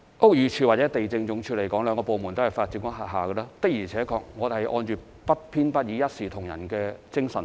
屋宇署及地政總署兩個部門都是發展局轄下的，的而且確，我們是按照不偏不倚、一視同仁的精神辦事。